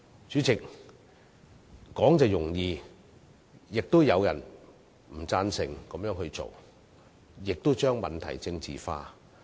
主席，說易行難，但亦有人反對這樣做，將問題政治化。